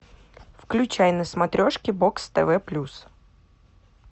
включай на смотрешке бокс тв плюс